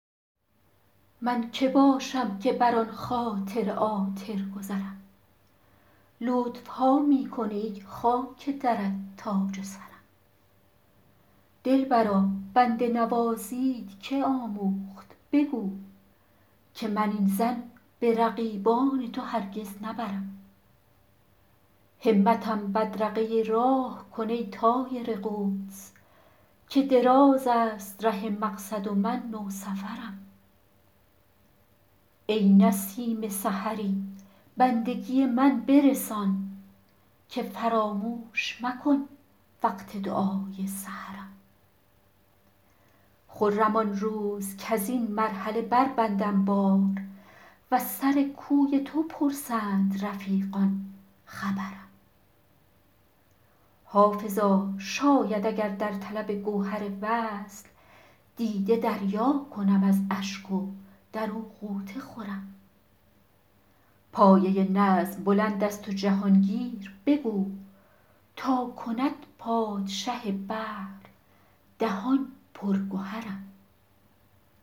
من که باشم که بر آن خاطر عاطر گذرم لطف ها می کنی ای خاک درت تاج سرم دلبرا بنده نوازیت که آموخت بگو که من این ظن به رقیبان تو هرگز نبرم همتم بدرقه راه کن ای طایر قدس که دراز است ره مقصد و من نوسفرم ای نسیم سحری بندگی من برسان که فراموش مکن وقت دعای سحرم خرم آن روز کز این مرحله بربندم بار و از سر کوی تو پرسند رفیقان خبرم حافظا شاید اگر در طلب گوهر وصل دیده دریا کنم از اشک و در او غوطه خورم پایه نظم بلند است و جهان گیر بگو تا کند پادشه بحر دهان پر گهرم